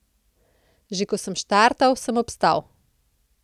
Že ko sem štartal, sem obstal.